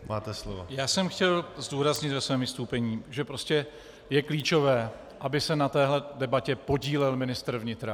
Já jsem chtěl zdůraznit ve svém vystoupení, že prostě je klíčové, aby se na téhle debatě podílel ministr vnitra.